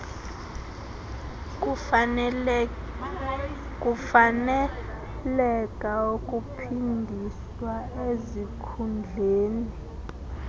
kufaneleka ukuphindiswa ezikhundleni